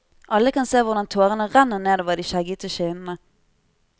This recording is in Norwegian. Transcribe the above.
Alle kan se hvordan tårene renner nedover de skjeggete kinnene.